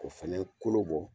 O fana kolo bɔ